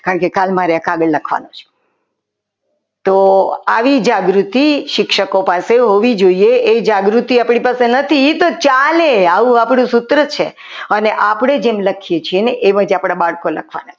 કારણ કે કાલ મારે આ કાગળ લખવાનો છે તો આવી જાગૃતિ શિક્ષકો પાસે હોવી જોઈએ એ જાગૃતિ આપણી પાસે નથી તો ચાલે આવું આપણું સૂત્ર છે અને આપણે જેમ લખીએ છીએ ને એમાંથી આપણા બાળકો લખવાના છે.